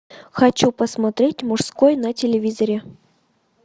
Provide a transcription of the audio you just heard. хочу посмотреть мужской на телевизоре